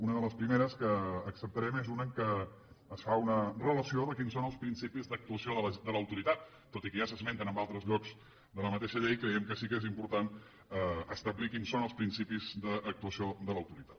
una de les primeres que acceptarem és una en què es fa una relació de quins són els principis d’actuació de l’autoritat tot i que ja s’esmenten en altres llocs de la mateixa llei creiem que sí que és important establir quins són els principis d’actuació de l’autoritat